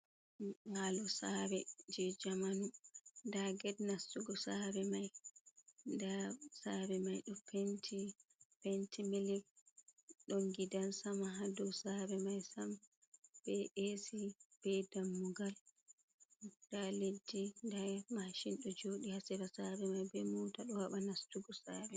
Nyibalo sare je jamanu, nda ged nastugo sare mai, nda sare mai ɗo penti penti milig ɗon gidan sama ha do sare mai Sam, be e si be dammugal, nda liddi, nda mashin ɗo joɗi, hasira sare mai be muta ɗo haɓa nastugo sare.